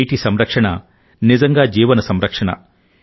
నీటి సంరక్షణ నిజంగా జీవన సంరక్షణ